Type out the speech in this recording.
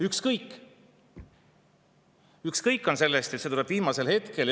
Sellest on ükskõik, see tuleb viimasel hetkel.